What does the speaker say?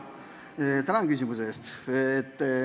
Tänan küsimuse eest!